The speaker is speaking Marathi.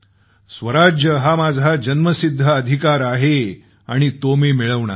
स्वराज्य हा माझा जन्मसिद्ध हक्क आहे आणि तो मी मिळवणारच